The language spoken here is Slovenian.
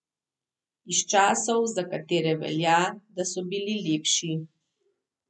Iz časov, za katere velja, da so bili lepši.